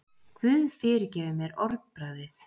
Guð fyrirgefi mér orðbragðið.